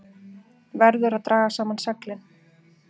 Verður að draga saman seglin